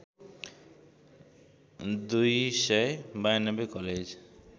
२९२ college